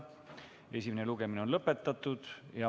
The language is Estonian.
Esimene lugemine on lõpetatud.